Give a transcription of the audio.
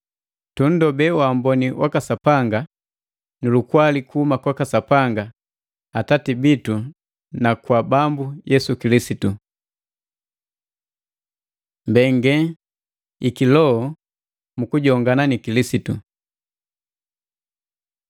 Tunndobee waamboni waka Sapanga nu lukwali kuhuma kwaka Sapanga Atati bitu na kwaka Bambu Yesu Kilisitu. Mbenge i kiloho mu kujongana ni Kilisitu